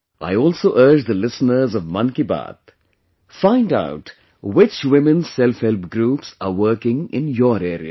I also urge the listeners of 'Mann Ki Baat'... find out which Women Self Help Groups are working in your area